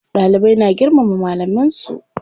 Dalibai na girmama malaman su.